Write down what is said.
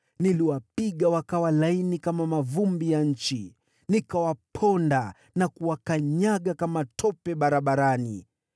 Niliwaponda kama mavumbi ya nchi; niliwaponda na kuwakanyaga kama tope barabarani.